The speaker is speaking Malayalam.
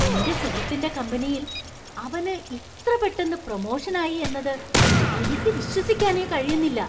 എൻ്റെ സുഹൃത്തിൻ്റെ കമ്പനിയിൽ അവനു ഇത്ര പെട്ടെന്ന് പ്രൊമോഷന്‍ ആയി എന്നത് എനിക്ക് വിശ്വസിക്കാനേ കഴിയുന്നില്ല.